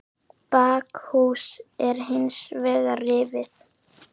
Bakhús er hins vegar rifið.